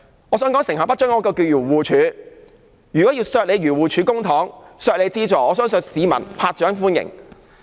我想說，成效不彰的是漁護署，如果要削減漁護署的撥款，我相信市民會拍掌歡迎。